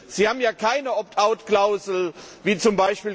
Sie haben ja keine Opt out Klausel wie z.